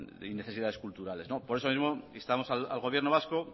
y necesidades culturales por eso mismo instamos al gobierno vasco